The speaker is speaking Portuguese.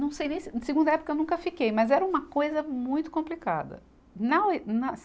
Não sei nem se, segunda época eu nunca fiquei, mas era uma coisa muito complicada. Na, nas